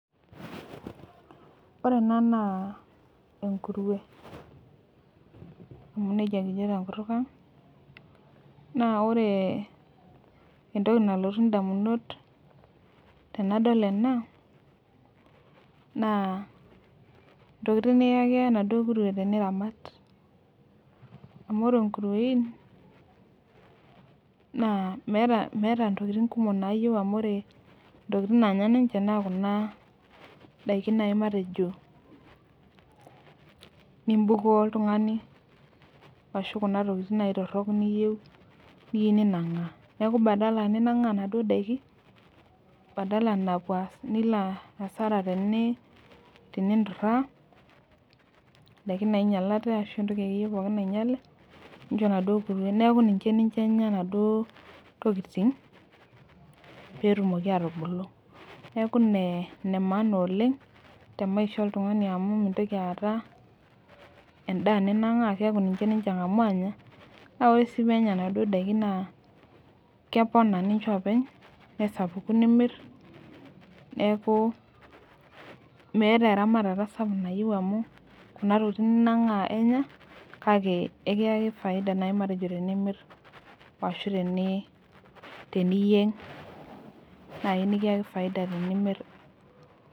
Ore ena naa enkurue, amu nejia kijo tenkutuk ang. ore entoki nalotu damunot tenadol ena, naa ntokitin nikiyaki enaduoo kurue teniramat. amu ore nkuruein, naa meeta ntokitin kumok naayieu amu ore ntokitin naayieu ninche naa ntokitin Kuna daiki naaji matejo, nibukoo oltungani ashu Kuna tokitin naaji torok niyieu ninang',aa.neeku badala ninangaa naduoo daikin badala nilo asara teninturaa, daikin naingialate ashu entoki akeyie pookin naingiale, nincho enaduoo kurue. neeku ninche ninye Enya enaduoo tokitin pee etumoki atubulu. neeku inemaana oleng, te maisha oltungani amu mintoki aata edaa ninang'aa keeku ninche ninche aang'amu aanya. naa ore sii pee enya inaduoo daikin naa keponaa ninche olopeny. nesapuku nimir. neeku meeta eramatata sapuk amu, Kuna tokitin ninang'aa enya. kale ekiyaki faida naai matejo tenimir, ashu teniyieng' naaji nikiyaki faida tenimir.